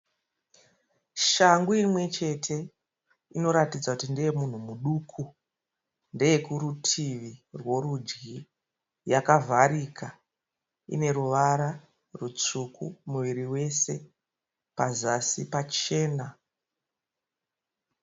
Shangu imwe chete inoratidza kuti ndeye munhu muduku. Ndeye kurutivi rwerudyi. Yakavharika. Ine ruvara rutsvuku muviri wese. Pazasi pachena.